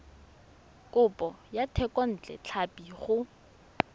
kopo ya thekontle tlhapi go